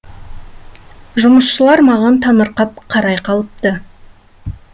жұмысшылар маған таңырқап қарай қалыпты